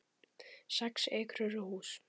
Sex ekrur og hús